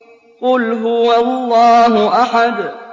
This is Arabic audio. قُلْ هُوَ اللَّهُ أَحَدٌ